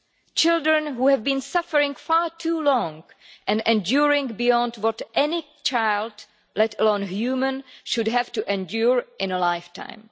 These are children who have been suffering far too long and enduring beyond what anyone should have to endure in a lifetime.